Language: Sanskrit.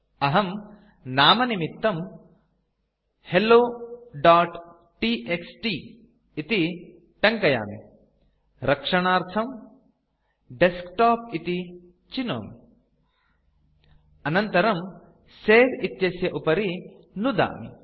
अहं नामनिमित्तं helloटीएक्सटी इति टङ्कयामि रक्षणस्थानार्थं डेस्कटॉप इति चिनोमि अनन्तरं सवे इत्यस्य उपरि नुदामि